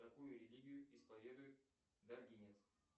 какую религию исповедует даргинец